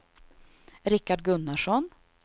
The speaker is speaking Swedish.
Rickard Gunnarsson